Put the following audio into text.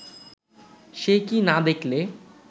সে কি না দেখলে